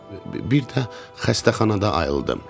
Bir də xəstəxanada ayıldım.